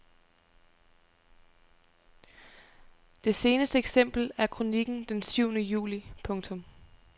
Det seneste eksempel er kronikken den syvende juli. punktum